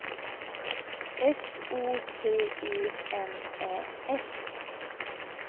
S O T E N Ä S